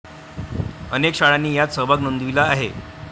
अनेक शाळांनी यात सहभाग नोंदविला आहे.